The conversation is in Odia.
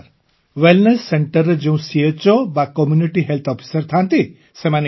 ହଁ ସାର୍ ୱେଲନେସ୍ Centreରେ ଯେଉଁ ଚୋ ବା କମ୍ୟୁନିଟି ହେଲ୍ଥ ଅଫିସର ଥାଆନ୍ତି